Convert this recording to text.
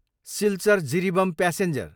Silchar, Jiribam passenger